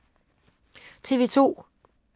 TV 2